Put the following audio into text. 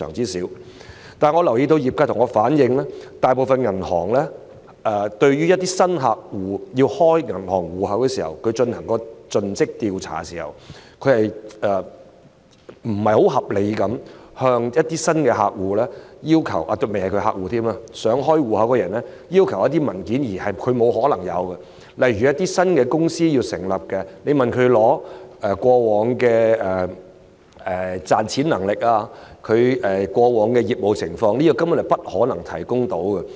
但是，我留意到業界向我反映，大部分銀行就開戶要求進行盡職調查時，會不太合理地要求想開戶的人士——尚未是客戶——提供一些他不可能有的文件，例如向新成立的公司索取過往賺錢能力和業務情況的文件，這些文件根本不可能提供。